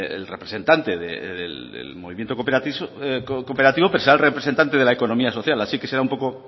el representante del movimiento cooperativo pero será el representante de la economía social así que será un poco